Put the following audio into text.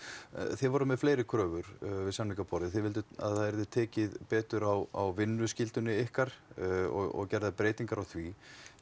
þið voruð með fleiri kröfur við samningaborðið þið vilduð að það yrði tekið betur á vinnuskyldunni ykkar og gerðar breytingar á því